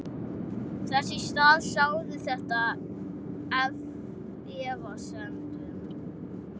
Þess í stað sáði þetta efasemdum.